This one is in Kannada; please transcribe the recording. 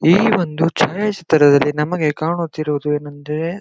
ಈ ಒಂದು ಛಾಯಾ ಚಿತ್ರದಲ್ಲಿ ನಮಗೆ ಕಾಣುತ್ತಿರುವುದು ಏನೆಂದರೆ --